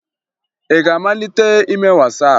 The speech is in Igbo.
Ị ga-amalite ime Wasaapụ?